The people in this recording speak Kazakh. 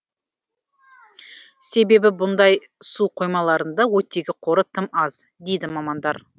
себебі бұндай су қоймаларында оттегі қоры тым аз дейді мамандар